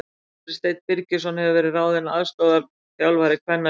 Andri Steinn Birgisson hefur verið ráðinn aðstoðarþjálfari kvennaliðs Vals.